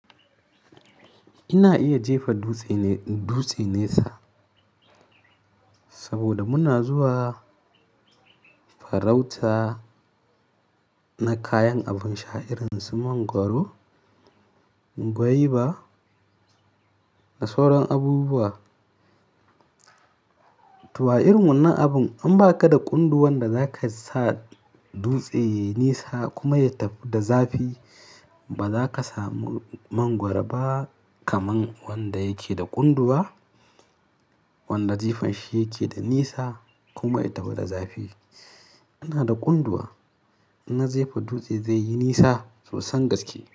Ina iya jefa dutse ne, in dutse nesa saboda muna zuwa farauta na kayan abin sha irin su mangwaro, goyba da sauran abubuwa. To a irin wannan abun in baka da kunduwa da zaka sa dutse yayi nesa kuma ya tafi da zafi, ba za ka samu mangwaro ba kaman wanda yake da kunduwa, wanda jifan shi yake da nisa kuma ya tafi da zafi. Ina da kunduwa, ina jefa dutse zai yi nisa sosan gaske.